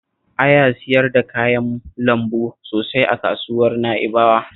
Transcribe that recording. Aya siyar da kayan lambu sosai a kasuwar Na'ibawa